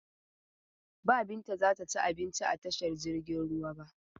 Ba Binta za ta ci abinci a tashar jiragen ruwa ba.